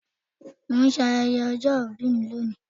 Mo ń ṣe ayẹyẹ ọjọ́ ìbí ni lónìí